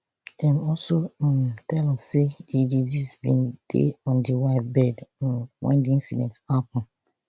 dem also um tell us say di deceased bin dey on di wife bed um wen di incident happun